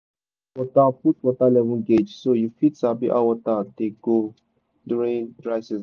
put water put water level gauge so you fit sabi how water dey go during dry season.